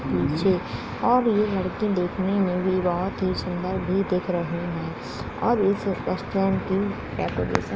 पीछे और ये लड़की देखने में भी बहुत-ही सुंदर भी दिख रही है और इस रेस्टोरेंट की डेकोरेशन --